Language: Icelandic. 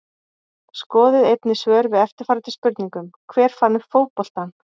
Skoðið einnig svör við eftirfarandi spurningum Hver fann upp fótboltann?